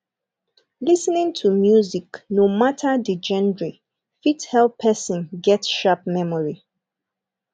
lis ten ing to music no matter the genre fit help person get sharp memory